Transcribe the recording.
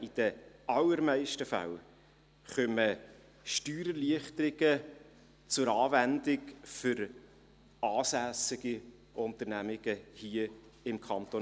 In den allermeisten Fällen kommen Steuererleichterungen für hier im Kanton Bern ansässige Unternehmen zur Anwendung.